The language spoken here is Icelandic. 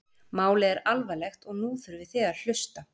Málið er alvarlegt og nú þurfið þið að hlusta?